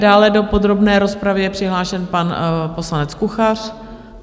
Dále do podrobné rozpravy je přihlášen pan poslanec Kuchař.